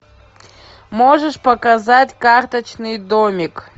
можешь показать карточный домик